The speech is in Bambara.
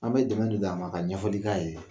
An bɛ dɛmɛ a ma ka ɲɛfɔli k'a ye